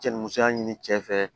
Cɛ ni musoya ɲini cɛ fɛ